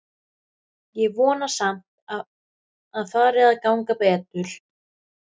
Ég vona samt að fari að ganga betur.